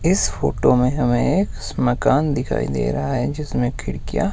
इस फोटो में हमें एक मकान दिखाई दे रहा है जिसमें खिड़कियां--